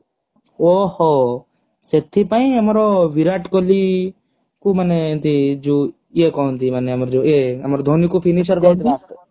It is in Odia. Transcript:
ଓହୋ। ସେଥିପାଇ ଆମର ବିରାଟ କୋହଲୀ କୁ ମାନେ ଏମତି ଯୋଉ ୟେ କହନ୍ତି ମାନେ ଆମର ଯୋଉ ଏ ମାନେ ଆମର ଧୋନୀ କୁ finisher କୁହନ୍ତି